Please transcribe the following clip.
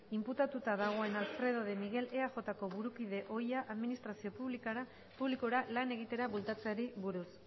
inputatuta dagoen alfredo de miguel eajko burukide ohia administrazio publikora lan egitera bueltatzeari buruz